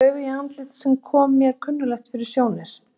Rak augun í andlit sem kom mér kunnuglega fyrir sjónir.